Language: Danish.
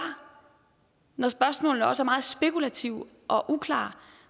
når spørgsmålene også er meget spekulative og uklare